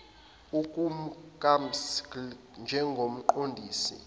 okukams gilder njengomqondisi